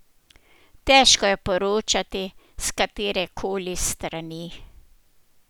Težko je poročati s katere koli strani.